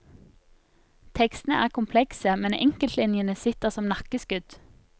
Tekstene er komplekse, men enkeltlinjene sitter som nakkeskudd.